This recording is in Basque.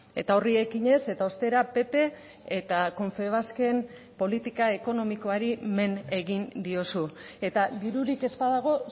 eta horri ekinez eta ostera pp eta confebasken politika ekonomikoari men egin diozu eta dirurik ez badago